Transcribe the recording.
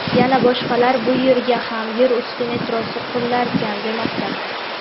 yana boshqalar bu yerga ham yer usti metrosi qurilarkan, demoqda.